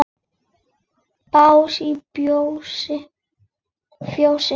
Bás í fjósi?